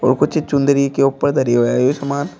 और कुछ चुनरी के ऊपर धरी है सामान।